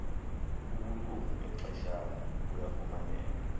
ubulungu bexeshana buyafumaneka